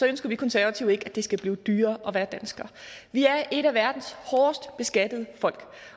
ønsker vi konservative ikke at det skal blive dyrere at være dansker vi er et af verdens hårdest beskattede folk